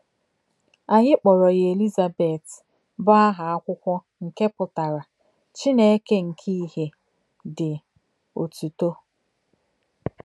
Anyị kpọrọ ya Elizabeth, bụ́ aha akwụkwọ nke pụtara “ Chineke nke Ihe Dị Ọtụtụ. ”